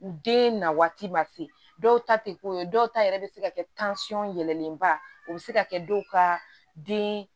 U den na waati ma se dɔw ta te k'o ye dɔw ta yɛrɛ be se ka kɛ yɛlɛnnenba o be se ka kɛ dɔw ka den